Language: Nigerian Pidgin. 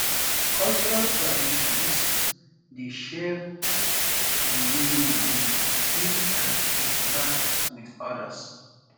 cultural um traditions um dey shape um di way we live eat and interact with odas